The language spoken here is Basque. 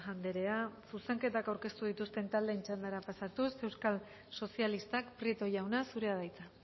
andrea zuzenketak aurkeztu dituzten taldeen txandara pasatuz euskal sozialistak prieto jauna zurea da hitza